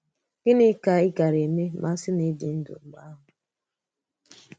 Gịnị ka ị gàrà emè mà a sì na ị dị ndụ mgbe ahụ?